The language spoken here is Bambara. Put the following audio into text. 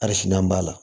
Arina b'a la